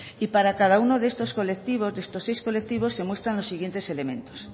y para cada uno de estos colectivos de estos seis colectivos se muestran los siguientes elementos